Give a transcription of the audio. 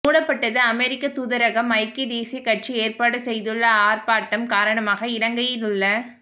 மூடப்பட்டது அமெரிக்கத் தூதரகம்ஐக்கிய தேசிய கட்சி ஏற்பாடு செய்துள்ள ஆர்ப்பாட்டம் காரணமாக இலங்கையிலுள்ள